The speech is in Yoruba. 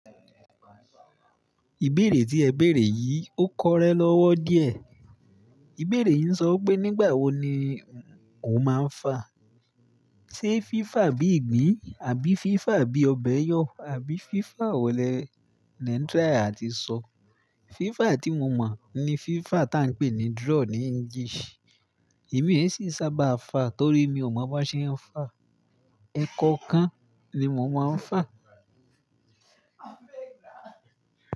Ìbéèrè tí ẹ béèrè yìí, ó kọrẹ́ lọ́wọ́ díẹ̀. Ìbéèrè yìí ń sọ wi pé nígbà wo ni o máa ń fa? Sé fifa bí ìgbín àbí fifa bí ọbẹ̀'yọ àbí fifa wo lé n try àti sọ? FIFA tí mo mọ̀ ni FIFA tá ń pè ní draw ní English. Èmi ẹ́ sì sábà fa torí mi ò mọ̀ bó ṣe ń fa. Ẹ kankan ni mo máa ń fa.